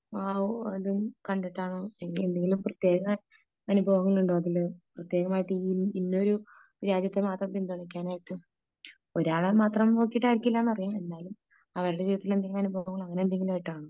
ആ ഓ ഇത് കണ്ടിട്ടാണോ ഇനി എന്തെങ്കിലും പ്രത്യേക അനുഭവങ്ങൾ ഉണ്ടോ അതില് പ്രത്യേകമായിട്ട് ഇന്ന ഒരു രാജ്യത്തെ മാത്രം പിന്തുണയ്ക്കാനായിട്ട് ഒരാളെ മാത്രം നോക്കിയിട്ടായിരിക്കില്ല എന്നറിയാം. എന്നാലും അവരുടെ ജീവിതത്തിലെ അനുഭവം അങ്ങനെ എന്തെങ്കിലും ആയിട്ടാണോ ?